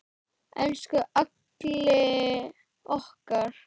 Elsku Alli okkar.